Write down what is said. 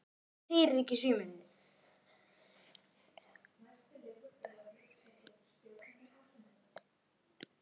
Þau lög voru brotin.